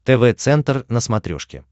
тв центр на смотрешке